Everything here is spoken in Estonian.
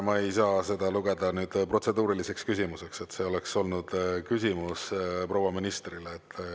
Ma ei saa seda lugeda protseduuriliseks küsimuseks, see oleks olnud küsimus proua ministrile.